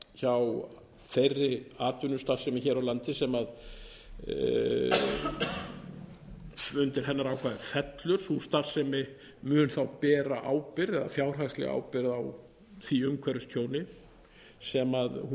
hjá þeirri atvinnustarfsemi hér á landi sem undir hennar ákvæði fellur sú starfsemi mun þá bera fjárhagslega ábyrgð á því umhverfistjóni sem hún